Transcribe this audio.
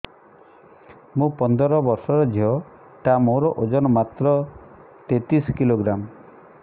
ମୁ ପନ୍ଦର ବର୍ଷ ର ଝିଅ ଟା ମୋର ଓଜନ ମାତ୍ର ତେତିଶ କିଲୋଗ୍ରାମ